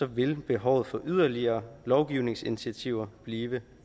vil behovet for yderligere lovgivningsinitiativer blive